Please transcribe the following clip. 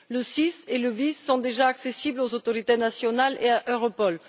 Le SIS et le VIS sont déjà accessibles aux autorités nationales et à Europol.